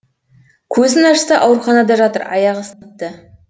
көзін ашса ауруханада жатыр аяғы сыныпты